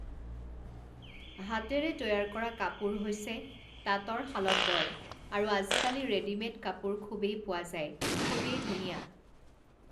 হাতেৰে তৈয়াৰ কৰা কাপোৰ হৈছে তাতৰ শালত বয়, আৰু আজিকালি ৰেডিমেড কাপোৰ খুবেই পোৱা যায়, খুবেই ধুনীয়া,